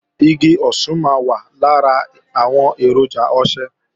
Igi osùn máa wà lára àwọn èròjà ọṣẹ